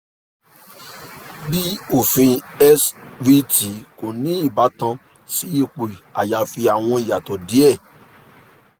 bi ofin svt ko ni ibatan si ipo ayafi awọn iyatọ diẹ